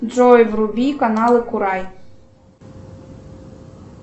джой вруби каналы курай